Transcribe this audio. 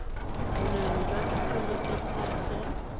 boleng jwa thuto le katiso